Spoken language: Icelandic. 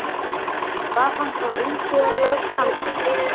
Var hann þá umsvifalaust handtekinn